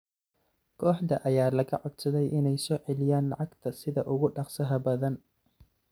Kooxda ayaa laga codsaday inay soo celiyaan lacagta sida ugu dhaqsaha badan.